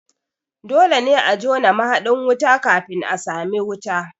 Dole ne a jona mahaɗin wuta kafin a sami wuta